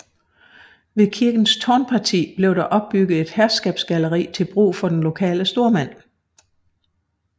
Ved kirkens tårnparti blev der opbygget et herskabsgalleri til brug for den lokale stormand